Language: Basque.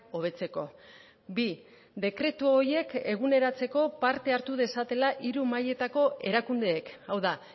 hobetzeko bi dekretu horiek eguneratzeko parte hartu dezatela hiru mailetako erakundeek hau da